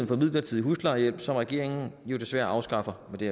for midlertidig huslejehjælp som regeringen jo desværre afskaffer med det